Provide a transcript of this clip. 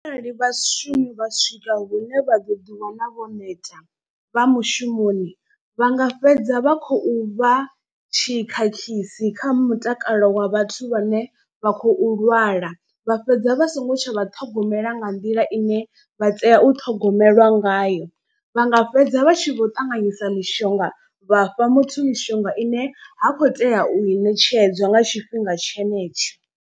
Arali vhashumi vha swika hune vha ḓo ḓi wana vho neta vha mushumoni vha nga fhedza vha khou vha tshikhakhisi kha mutakalo wa vhathu vhane vha khou lwala. Vha fhedza vha songo tsha vha ṱhogomela nga nḓila ine vha tea u ṱhogomelwa ngayo. Vha nga fhedza vha tshi vho ṱanganyisa mishonga vha fha muthu mishonga ine ha khou tea u i ṋetshedzwa nga tshifhinga tshenetsho.